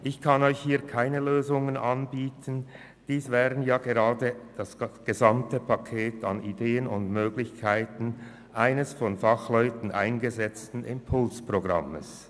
Ich kann Ihnen an dieser Stelle keine Lösungen anbieten, sondern diese wären die Inhalte des gesamten Pakets mit Ideen und Möglichkeiten eines von Fachleuten ausgearbeiteten Impulsprogramms.